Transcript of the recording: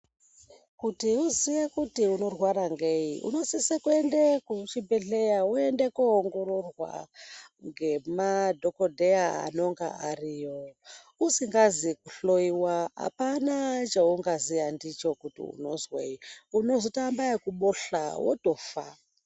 Kuti uziye kuti unorwara ngei unosise kuende kuchibhedhleya woende koongororwa ngemadhokodheya anenge ariyo usikazi kuhloiwa apana chaungaziya ndicho kuti unozwei unozotoamba ekubohla wotofa.